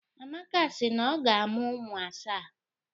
Amaka si na ọ ga-amụ ụmụ asaa.